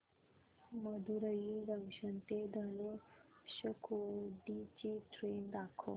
Madurai junction ते धनुषकोडी ची train दाखव